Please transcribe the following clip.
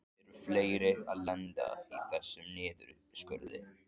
Eru fleiri að lenda í þessum niðurskurði?